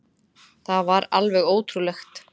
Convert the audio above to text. Það var alveg ótrúlegt.